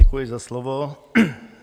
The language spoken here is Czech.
Děkuji za slovo.